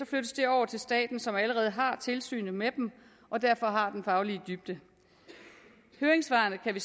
flyttes den over til staten som allerede har tilsynet med dem og derfor har den faglige dybde høringssvarene kan vi